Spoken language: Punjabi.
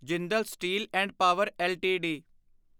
Jindal steel and power LTD